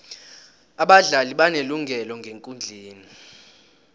abadlali banelungelo ngekundleni